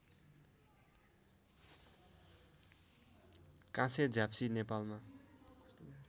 काँसे झ्याप्सी नेपालमा